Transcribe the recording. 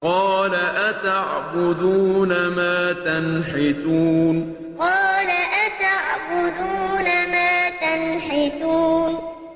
قَالَ أَتَعْبُدُونَ مَا تَنْحِتُونَ قَالَ أَتَعْبُدُونَ مَا تَنْحِتُونَ